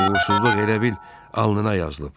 Uğursuzluq elə bil alnına yazılıb.